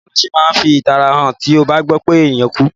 Bàwoni o se ma n fi ìtara han ti o ba gbọ pe enìkan kú?